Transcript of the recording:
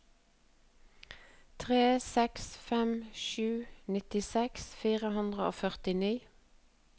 tre seks fem sju nittiseks fire hundre og førtini